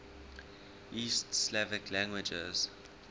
east slavic languages